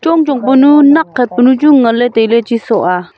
chong chong penu nai khat penu chu ngan ley tai ley.